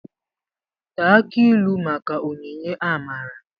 Taa akị ilu maka onyinye amara.